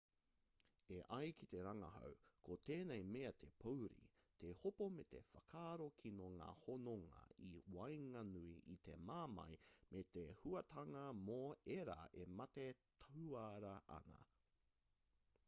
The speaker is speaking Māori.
e ai ki te rangahau ko tēnei mea te pouri te hopo me te whakaaro kino ngā hononga i waenganui i te mamae me te hauātanga mō ērā e mate tuara ana